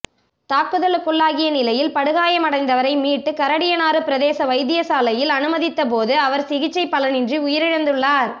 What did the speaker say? தாக்குதலுக்குள்ளாகிய நிலையில் படுகாயமடைந்தவரை மீட்டு கரடியனாறு பிரதேச வைத்தியசாலையில் அனுமதித்தபோதும் அவர் சிகிச்சை பலனின்றி உயிரிழந்துள்ளார்